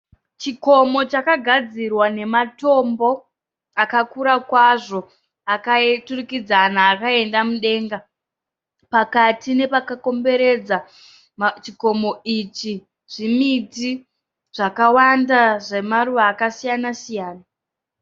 Chikomo chakagadzirwa nematombo akakura kwazvo akaturikidzana akaenda mudenga. Pakati nepakakomveredza chikomo ichi zvimiti zvakawanda zvemaruva akasiyana siyana.